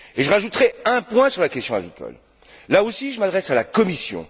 J'ajouterai un point sur la question agricole là aussi, je m'adresse à la Commission.